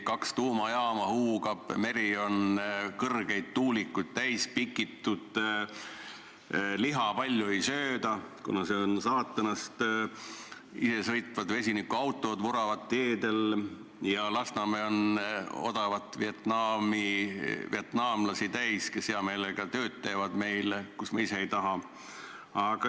Kaks tuumajaama huugavad, meri on kõrgeid tuulikuid täis pikitud, liha palju ei sööda, kuna see on saatanast, isesõitvad vesinikuautod vuravad teedel ja Lasnamäe on täis odavaid vietnamlasi, kes teevad meil hea meelega tööd, mida me ise teha ei taha.